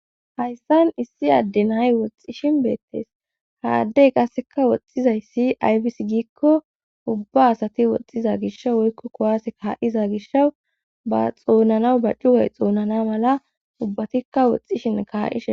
Hayssan issi adden hay woxxishin beettees haaddey qasseka woxxizay si aybis giikko ubba asati woxxiza gish woykko kowase kaa7iza gishawu ba xoonnanaw ba cugay xoonnana mala ubbatikka woxxishin kaa7ishen.